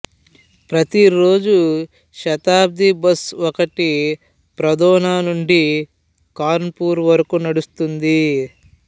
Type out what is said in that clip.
ప్రతిరోజూ శతాబ్ది బస్సు ఒకటి పద్రౌనా నుండి కాన్పూర్ వరకు నడుస్తుంది